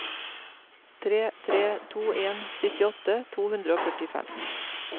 tre tre to en syttiåtte to hundre og førtifem